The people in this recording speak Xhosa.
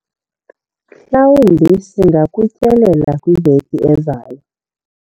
mhlawumbi singakutyelela kwiveki ezayo